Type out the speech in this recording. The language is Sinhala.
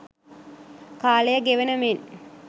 කාලය ගෙවන මෙන්